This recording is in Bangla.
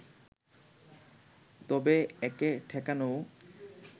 তবে একে ঠেকানোও